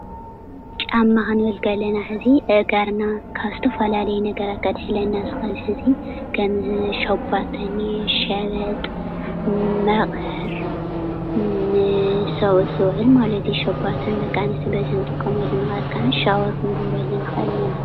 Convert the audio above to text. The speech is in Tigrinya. ጫማ ክንብል ከለና ሕዚ ኣእጋርና ካብ ዝተፈላለየ ነገራት ከድሕነልና ዝኽእል ሕዚ ከም ሸባቶ እኒአ፣ ሸበጥ፣ መቐር ንሰብኡት ዝውዕል ማለት እዩ። ሸባቶ ንደቂ ኣንስትዮ በዝሒ ንጥቀመሉ ነገር ከዓ ሻወር ክንገብረሉ ንኽእል ማለት እዩ።